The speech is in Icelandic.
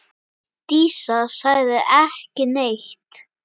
Dísa sagði ekki neitt.